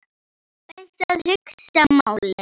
Best að hugsa málið.